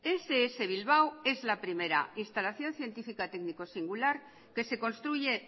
ess bilbao es la primera instalación científica técnico singular que se construye